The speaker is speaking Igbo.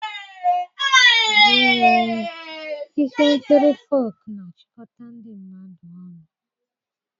Ee, ihe nkiri Folk na-achịkọta ndị mmadụ ọnụ